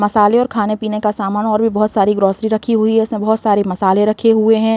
मसाले और खाने पीने का सामान और भी बहोत सारी ग्रोसरी रखी हुई हैं इसमें बहोत सारे मसाले रखे हुए हैं।